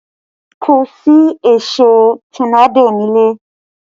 Kò sí èṣó tọ́nádò nílẹ̀